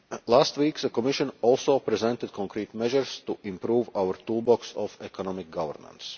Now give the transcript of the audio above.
Last week the Commission also presented concrete measures to improve our toolbox of economic governance.